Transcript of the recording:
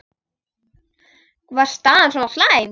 Var staðan svona slæm?